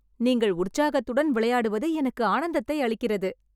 நீங்கள் உற்சாகத்துடன் விளையாடுவது எனக்கு ஆனந்தத்தை அளிக்கிறது